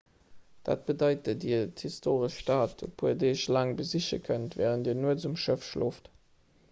dat bedeit datt dir d'historesch stad e puer deeg laang besiche kënnt wärend dir nuets um schëff schlooft